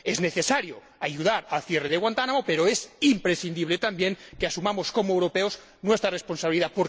Es necesario ayudar al cierre de Guantánamo pero es imprescindible también que asumamos, como europeos, nuestra responsabilidad.